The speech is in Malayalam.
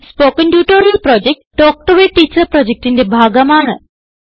spoken tutorial project talk to a teacher പ്രൊജക്റ്റിന്റെ ഭാഗമാണ്